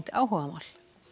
áhugamál